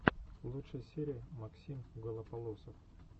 лучшая серия максим голополосов